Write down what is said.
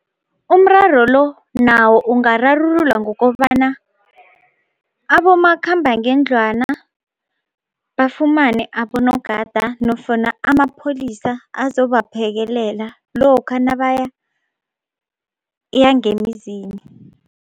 Umraro lo nawo ungararululwa ngokobana abomakhambangendlwana bafumane abonogada nofana amapholisa azobaphekelela lokha nabaya ngemizini.